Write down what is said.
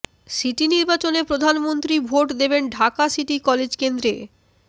city নির্বাচনে প্রধানমন্ত্রী ভোট দেবেন ঢাকা সিটি কলেজ কেন্দ্রে